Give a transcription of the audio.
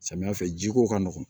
Samiya fɛ jiko ka nɔgɔn